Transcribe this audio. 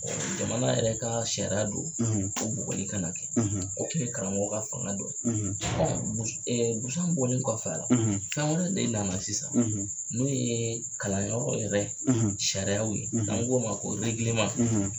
jamana yɛrɛ ka sariya do ko bugɔli kana kɛ o kun ye karamɔgɔ ka fanga dɔ ye busan bɔli kɔfɛ a la fɛn wɛrɛ de nana sisan n'o ye kalanyɔrɔ yɛrɛ sariyaw ye n'an ko u ma ko